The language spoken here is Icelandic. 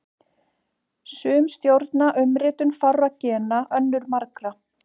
Sum stjórna umritun fárra gena, önnur margra.